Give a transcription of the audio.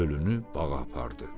Ölünü bağa apardı.